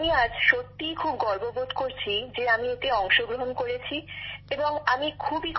আমি আজ সত্যিই খুব গর্ববোধ করছি যে আমি এতে অংশগ্রহণ করেছি এবং আমি খুবই খুশি